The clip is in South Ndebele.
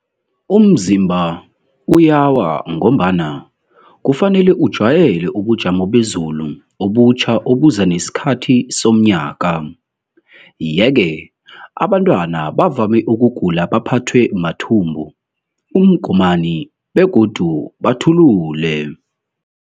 Umzimba uyawa ngombana kufanele ujwayele ubujamo beZulu obutjha obuza nesikhathi somnyaka, yeke abantwana bavame ukugula baphathwe mathumbu, uMgomani begodu bathulule.